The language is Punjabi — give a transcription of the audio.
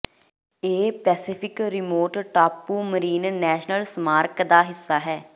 ਇਹ ਪੈਸੀਫਿਕ ਰਿਮੋਟ ਟਾਪੂ ਮਰੀਨ ਨੈਸ਼ਨਲ ਸਮਾਰਕ ਦਾ ਹਿੱਸਾ ਹੈ